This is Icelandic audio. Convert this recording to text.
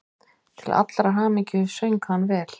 Til allrar hamingju söng hann vel!